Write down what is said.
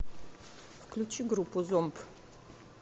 включи группу зомб